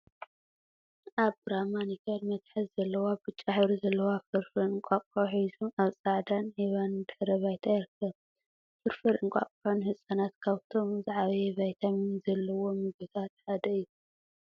አብ ብራማ ኒከል መትሓዚ ዘለዋ ብጫ ሕብሪ ዘለዎ ፍርፍር እንቋቁሖ ሒዙ አብ ፃዕዳን ዒባን ድሕረ ባይታ ይርከብ፡፡ ፍርፍር እንቋቁሖ ንህፃናት ካብቶም ዝዓበየ ቫይታሚን ዘለዎም ምግቢታት ሓደ እዩ፡፡